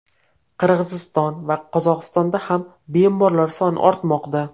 Qirg‘iziston va Qozog‘istonda ham bemorlar soni ortmoqda.